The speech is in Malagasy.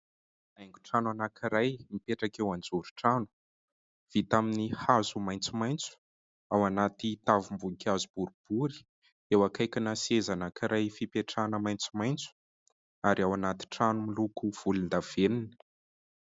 Haingon-trano anankiray mipetraka eo anjoron-trano. Vita amin'ny hazo maitsomaitso ao anaty tavim-boninkazo boribory, eo akaikina seza anankiray fipetrahana maitsomaitso ary ao anaty trano miloko volondavenina.